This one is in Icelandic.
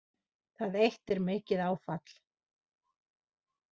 Það eitt er mikið áfall